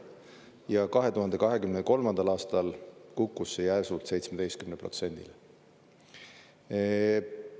Ja 2023. aastal kukkus see järsult 17%-le.